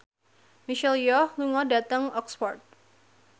Michelle Yeoh lunga dhateng Oxford